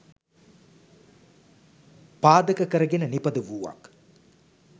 පාදක කරගෙන නිපද වූවක්.